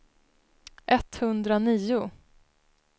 etthundranio